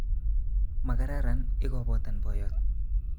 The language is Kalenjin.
Makararan ikobotan boyot